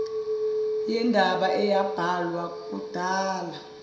yendaba eyabhalwa kudala